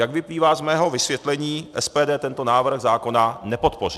Jak vyplývá z mého vysvětlení, SPD tento návrh zákona nepodpoří.